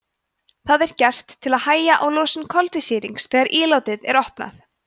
það er gert til að hægja á losun koltvísýrings þegar ílátið er opnað